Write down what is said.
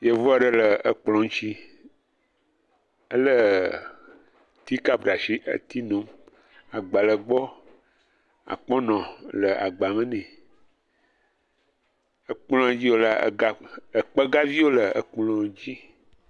Yevu ɖe ɖe ekplɔ ŋtsi. Ele ti kɔpu ɖe asi eti nom. Agba le egbɔ. Akpɔnɔ le agba me nɛ. Ekplɔ ya dzi wolea ega ekpegaviwo le ekplɔ ŋts.